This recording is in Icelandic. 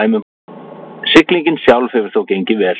Siglingin sjálf hefur þó gengið vel